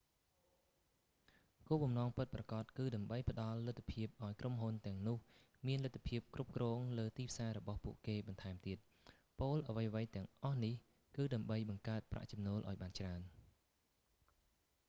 គោលបំណងពិតប្រាកដគឺដើម្បីផ្តល់លទ្ធភាពឱ្យក្រុមហ៊ុនទាំងនោះមានលទ្ធភាពគ្រប់គ្រងលើទីផ្សាររបស់ពួកគេបន្ថែមទៀត ពោលអ្វីៗទាំងអស់នេះគឺដើម្បីបង្កើតប្រាក់ចំណូលឱ្យបានច្រើន